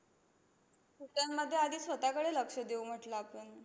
त्यांमध्ये आधी स्वतःकडे लक्ष देऊ म्हटलं आपण.